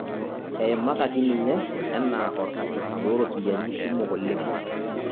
Eimakaki ninye ena orkaisis looropiyiani kumok oleng'